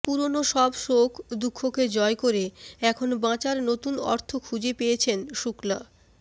পুরনো সব শোক দুঃখকে জয় করে এখন বাঁচার নতুন অর্থ খুঁজে পেয়েছেন শুক্লা